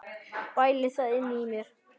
Bæli það inni í mér.